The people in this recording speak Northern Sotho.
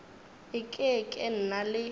e ke ke na le